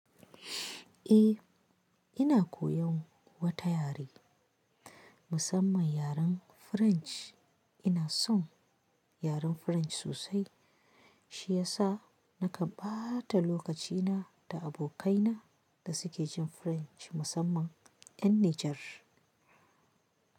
Eh, ina koyon wata yare, musamman yaren French. Ina son yaren French sosai, shi ya sa na kan ƙaɓata lokacina da abokaina da suke jin French musamman 'yan Nijar.